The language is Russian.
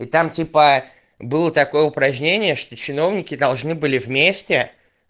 и там типа было такое упражнение что чиновники должны были вместе